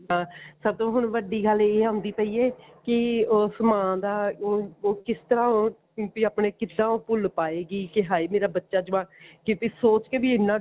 ਦਾ ਸਭ ਤੋਂ ਹੁਣ ਵੱਡੀ ਗੱਲ ਇਹ ਆਉਂਦੀ ਪਈ ਹੈ ਕਿ ਉਸ ਮਾਂ ਦਾ ਉਹ ਕਿਸ ਤਰ੍ਹਾਂ ਉਹ ਵੀ ਆਪਣੇ ਕਿੱਦਾਂ ਉਹ ਭੁੱਲ ਪਾਏਗੀ ਕੀ ਹਾਏ ਮੇਰਾ ਬੱਚਾ ਜਵਾਕ ਕਿਤੇ ਸੋਚ ਕੇ ਵੀ ਇੰਨਾ